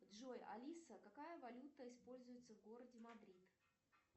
джой алиса какая валюта используется в городе мадрид